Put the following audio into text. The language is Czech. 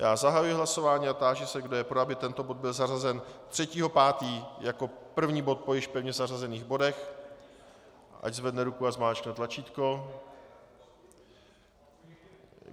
Já zahajuji hlasování a táži se, kdo je pro, aby tento bod byl zařazen 3. 5. jako první bod po již pevně zařazených bodech, ať zvedne ruku a zmáčkne tlačítko.